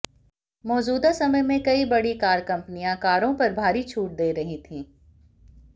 मौजूदा समय में कई बड़ी कार कंपनियां कारों पर भारी छूट दे रही थीं